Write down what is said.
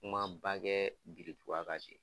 Kuma ba kɛ birintuban kan ten